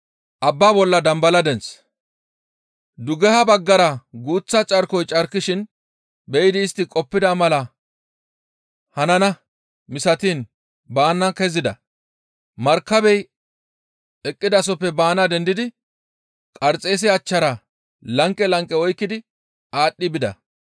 Dugeha baggara guuththa carkoy carkishin be7idi istti qoppida mala hananaa misatiin baana kezida; markabey eqqizasoppe baana dendidi Qarxeese achchara lanqe lanqe oykkidi aadhdhi bida.